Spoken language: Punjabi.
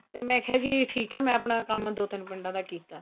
ਤੇ ਮੈਂ ਕਿਹਾ ਜੀ ਠੀਕ ਏ ਮੈਂ ਆਪਣਾ ਕੰਮ ਦੋ ਤਿੰਨ ਪਿੰਡਾ ਦਾ ਕੀਤਾ